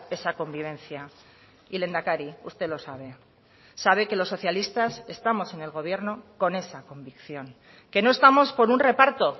esa convivencia y lehendakari usted lo sabe sabe que los socialistas estamos en el gobierno con esa convicción que no estamos por un reparto